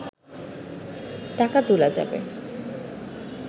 টাকা তোলা যাবে